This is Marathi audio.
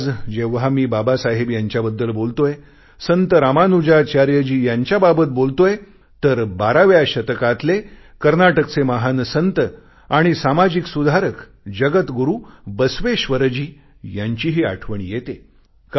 आज जेव्हा मी बाबासाहेब यांच्याबद्दल बोलतोय संत रामानुजाचार्यजी यांच्याबाबत बोलतोय तर 12व्या शतकातले कर्नाटकचे महान संत आणि सामाजिक सुधारक जगत गुरु बस्वेश्वरजी यांचीही आठवण येते